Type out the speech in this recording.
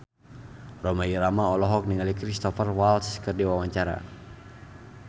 Rhoma Irama olohok ningali Cristhoper Waltz keur diwawancara